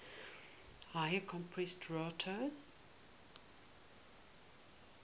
higher compression ratio